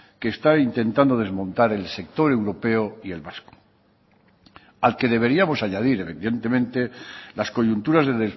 que está intentando desmontar el sector europeo y el vasco al que deberíamos añadir evidentemente las coyunturas de